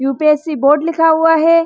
UPSC board लिखा हुआ है।